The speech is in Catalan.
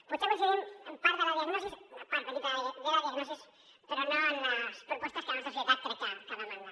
potser coincidim en part de la diagnosi una part petita de la diagnosi però no en les propostes que la nostra societat crec que demanda